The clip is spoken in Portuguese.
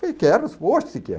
Falei, quero, ô se quero.